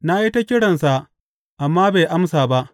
Na yi ta kiransa amma bai amsa ba.